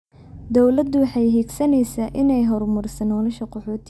Dawladdu waxay higsanaysaa inay horumariso nolosha qaxootiga.